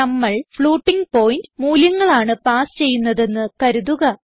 നമ്മൾ floating point മൂല്യങ്ങൾ ആണ് പാസ് ചെയ്യുന്നതെന്ന് കരുതുക